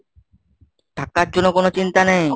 টাকার জন্য কোনো চিন্তা নেই।